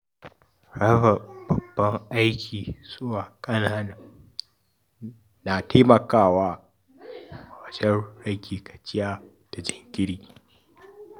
Raba babban aiki zuwa ƙanana na taimakawa wajen rage gajiya da jinkiri.